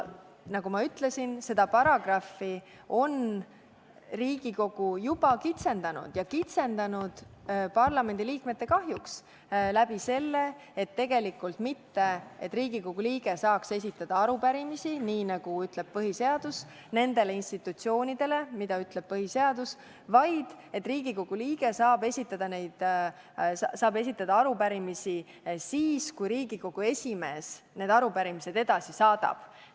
Nagu ma ütlesin, seda paragrahvi on Riigikogu juba kitsendanud ja kitsendanud parlamendiliikmete kahjuks sellega, et tegelikult ei ole mitte nii, et Riigikogu liige saab esitada arupärimisi, nagu ütleb põhiseadus, nendele institutsioonidele, mida põhiseadus loetleb, vaid Riigikogu liige saab esitada arupärimisi siis, kui Riigikogu esimees need arupärimised edasi saadab.